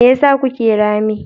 Me yasa kuke rame?